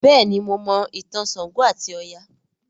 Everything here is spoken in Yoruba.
béèni mọ Mo ìtàn ṣàngó ati Oya.